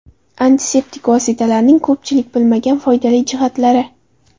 Antiseptik vositalarning ko‘pchilik bilmagan foydali jihatlari.